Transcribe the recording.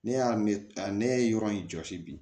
Ne y'a ne ne ye yɔrɔ in jɔsi bi